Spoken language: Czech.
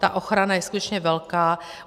Ta ochrana je skutečně velká.